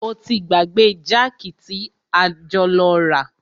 O ti gbàgbé jákì tí a jọ lọ rà.